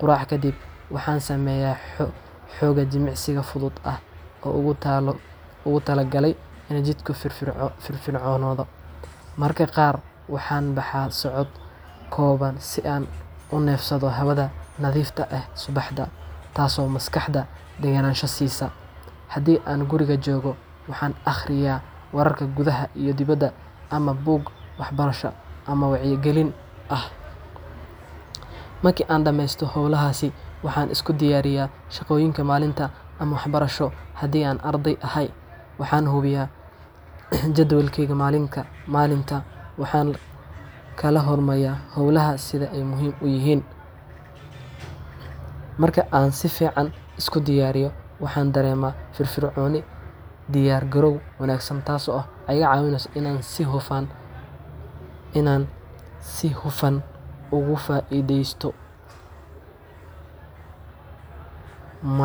Quraacda kaddib, waxaan sameeyaa xoogaa jimicsi fudud ah oo aan ugu tala galay in jidhkaygu firfircoonaado. Mararka qaar waxaan baxaa socod kooban si aan u neefsado hawada nadiifta ah ee subaxda, taas oo maskaxda deganaansho siisa. Haddii aan guriga joogo, waxaan akhriyaa wararka gudaha iyo dibadda ama buug waxbarasho ama wacyigelin leh. Markii aan dhammeeyo hawlahaas, waxaan isu diyaariyaa shaqooyinka maalinta ama waxbarasho haddii aan arday ahay. Waxaan hubiyaa jadwalkayga maalinta, waxaana kala hormariyaa howlaha sida ay muhiim u yihiin. Marka aan si fiican isku diyaariyo, waxaan dareemaa firfircooni iyo diyaargarow wanaagsan, taasoo iga caawisa in aan si hufan uga faa’iidaysto maalinta.